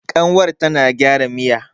kanwar tana gyara Miya